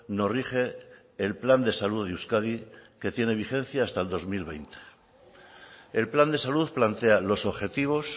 nos rige el plan de salud de euskadi que tiene vigencia hasta el dos mil veinte el plan de salud plantea los objetivos